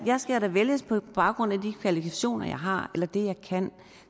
jeg skal da vælges på grund af de kvalifikationer jeg har eller det jeg kan